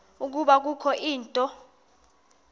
ukuba kukho into